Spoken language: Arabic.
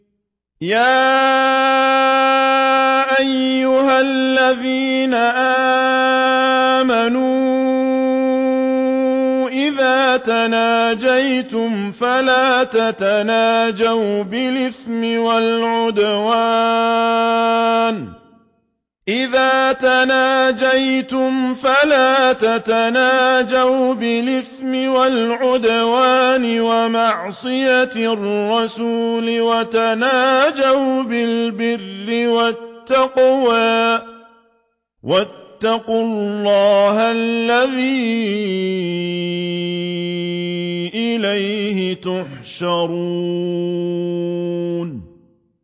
يَا أَيُّهَا الَّذِينَ آمَنُوا إِذَا تَنَاجَيْتُمْ فَلَا تَتَنَاجَوْا بِالْإِثْمِ وَالْعُدْوَانِ وَمَعْصِيَتِ الرَّسُولِ وَتَنَاجَوْا بِالْبِرِّ وَالتَّقْوَىٰ ۖ وَاتَّقُوا اللَّهَ الَّذِي إِلَيْهِ تُحْشَرُونَ